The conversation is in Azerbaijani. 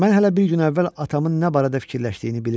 Mən hələ bir gün əvvəl atamın nə barədə düşündüyünü bilirdim.